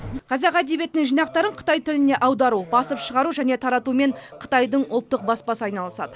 қазақ әдебиетінің жинақтарын қытай тіліне аудару басып шығару және таратумен қытайдың ұлттық баспасы айналысады